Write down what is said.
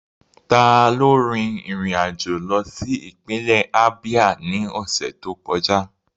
Taló rin ìrìn àjò lọ sí ìpínlẹ̀ Ábíá ní ọ̀sẹ̀ tó kọjá?